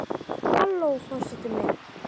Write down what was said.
Halló forseti minn!